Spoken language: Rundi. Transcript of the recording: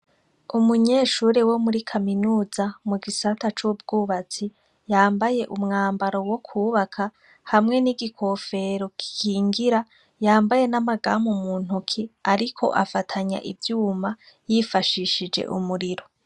Umunyeshuri wo muri kaminuza mu gisata c'ubwubatsi yambaye umwambaro wo kwubaka hamwe n'igikofero kikingira yambaye n'amagamu muntoki, ariko afatanya ivyuma yifashishije umuriro.